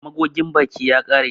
Magogin baki ya ƙare.